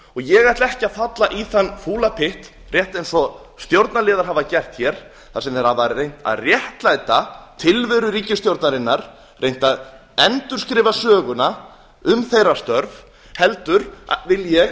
ég ætla ekki að falla í þann fúla pytt rétt eins og stjórnarliðar hafa gert hér þar sem þeir hafa reynt að réttlæta tilveru ríkisstjórnarinnar reynt að endurskrifa söguna um þeirra störf heldur vil ég